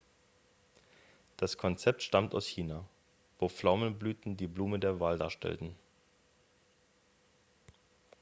das konzept stammt aus china wo pflaumenblüten die blume der wahl darstellten